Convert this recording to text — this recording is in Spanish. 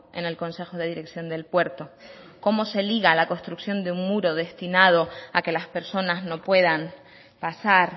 en el consejo de dirección del puerto cómo se liga la construcción de un muro destinado a que las personas no puedan pasar